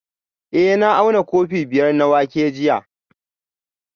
Eh na auna kofi biyar na wake jiya